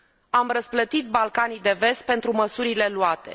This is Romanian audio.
Am răsplătit Balcanii de Vest pentru măsurile luate.